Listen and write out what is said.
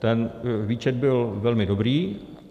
Ten výčet byl velmi dobrý.